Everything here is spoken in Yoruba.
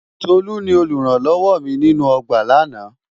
Tolú ni olùrànlọ́wọ mi nínú ọgbà lánàá.